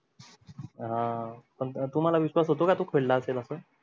हां पण तुम्हाला विश्वास होतो का तो खेळा असेल अस